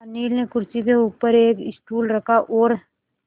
अनिल ने कुर्सी के ऊपर एक स्टूल रखा और